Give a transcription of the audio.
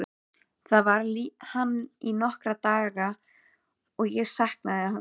Þar var hann í nokkra daga og ég saknaði hans.